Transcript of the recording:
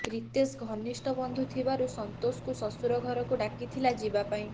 ରିତେଶ ଘନିଷ୍ଠ ବନ୍ଧୁ ଥିବାରୁ ସନ୍ତୋଷକୁ ଶଶ୍ବରଘରକୁ ଡ଼ାକିଥିଲା ଯିବାପାଇଁ